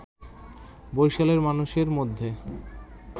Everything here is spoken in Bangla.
বরিশালের মানুষের মধ্যে